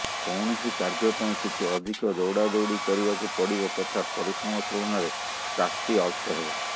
କୌଣସି କାର୍ଯ୍ୟ ପାଇଁ କିଛି ଅଧିକ ଦୌଡ଼ାଦୌଡ଼ି କରିବାକୁ ପଡ଼ିବ ତଥା ପରିଶ୍ରମ ତୁଳନାରେ ପ୍ରାପ୍ତି ଅଳ୍ପ ହେବ